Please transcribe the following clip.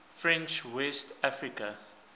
french west africa